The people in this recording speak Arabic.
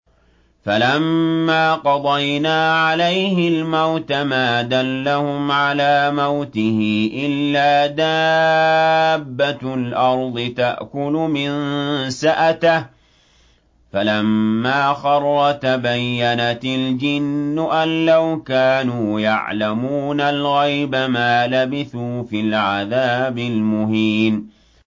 فَلَمَّا قَضَيْنَا عَلَيْهِ الْمَوْتَ مَا دَلَّهُمْ عَلَىٰ مَوْتِهِ إِلَّا دَابَّةُ الْأَرْضِ تَأْكُلُ مِنسَأَتَهُ ۖ فَلَمَّا خَرَّ تَبَيَّنَتِ الْجِنُّ أَن لَّوْ كَانُوا يَعْلَمُونَ الْغَيْبَ مَا لَبِثُوا فِي الْعَذَابِ الْمُهِينِ